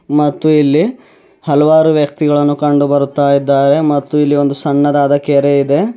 ಮತ್ತು ಇಲ್ಲಿ ಹಲವಾರು ವ್ಯಕ್ತಿಗಳನ್ನು ಕಂಡು ಬರುತ್ತಾ ಇದ್ದಾರೆ ಮತ್ತು ಇಲ್ಲಿ ಒಂದು ಸಣ್ಣದಾದ ಕೆರೆ ಇದೆ.